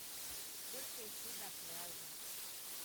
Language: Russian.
сколько идти до пляжа